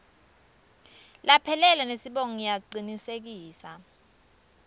laphelele nesibongo ngiyacinisekisa